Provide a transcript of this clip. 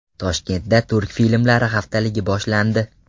Toshkentda turk filmlari haftaligi boshlandi.